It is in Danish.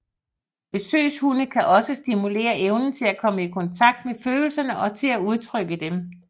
Besøgshunde kan også stimulere evnen til at komme i kontakt med følelserne og til at udtrykke dem